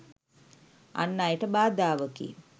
අන් අයට බාධාවකි.